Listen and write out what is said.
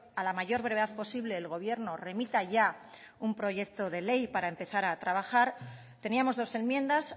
a la mayor brevedad posible el gobierno remita ya un proyecto de ley para empezar a trabajar teníamos dos enmiendas